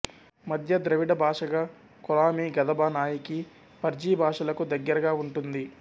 మధ్య ద్రవిడ భాషగా కొలామీ గదబ నాయికీ పర్జీ భాషలకు దగ్గరగా ఉంటుంది